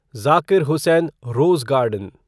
Zakir Hussain rose garden